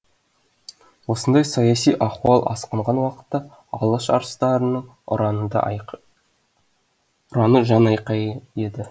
осындай саяси ахуал асқынған уақытта алаш арыстарының ұраны жан айқайы еді